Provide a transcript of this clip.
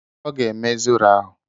Ọ ga-eme zoro ahụ.